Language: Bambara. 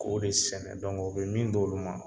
K'o de sɛnɛ o bɛ min d'olu ma